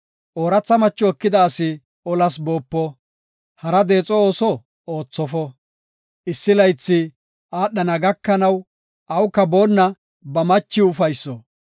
Ooratha macho ekida asi olas boopo; hara deexo ooso oothofo. Issi laythi aadhana gakanaw awuka boonna ba machiw ufayso.